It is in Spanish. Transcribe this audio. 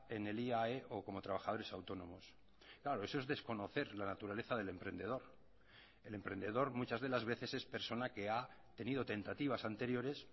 en el iae o como trabajadores autónomos claro eso es desconocer la naturaleza del emprendedor el emprendedor muchas de las veces es persona que ha tenido tentativas anteriores